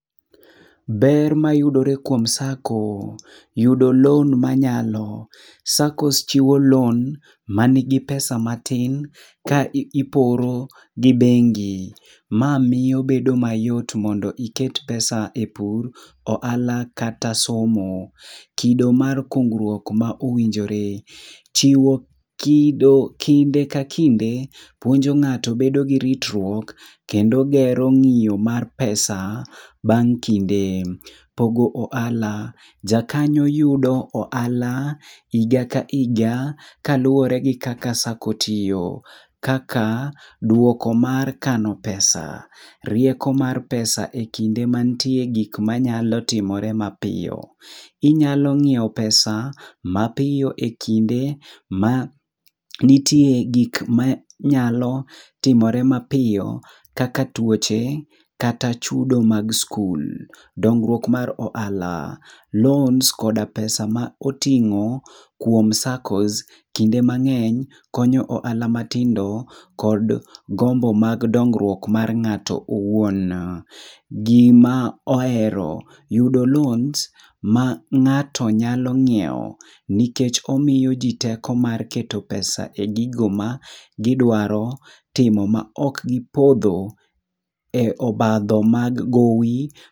Ber mayudore kuom Sacco: yudo lon manyalo. Sakos chiwo lon ma nigi pesa matin ka iporo gi bengi. Ma miyo bedo mayot mondo iket pesa e pur, ohala kata somo. Kido mar kungruok ma owinjore: chiwo kido kinde ka kinde puonjo ng'ato bedo gi ritruok kendo gero ng'iyo mar pesa bang' kinde. Pogo ohala: jakanyo yudo ohala higa ka higa kaluwore gi kaka Sako tiyo. Kaka dwoko mar kano pesa, rieko mar pesa e kinde mantie gik ma nyalo timore mapiyo. Inyalo ng'iewo pesa mapiyo e kinde ma nitie gik ma nyalo timore mapiyo kaka tuoche kata chud mag skul. Dongruok mar ohala: loans koda pesa ma oting'o kuom saccos kinde mang'eny konyo ohala matindo kod gombo mag dongruok mag ng'ato owuon. Gima ohero: yudo loans ma ng'ato nyalo ng'iewo, nikech omiyo ji teko mar keto pesa e gigo ma gidwaro timo ma ok gipondho e obadho mag gowi.